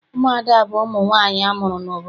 Ụmụada bụ ụmụ nwaanyị amụrụ n'obodo.